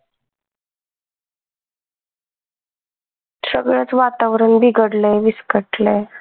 सगळच वातावरण बिघडलंय विस्कटलय.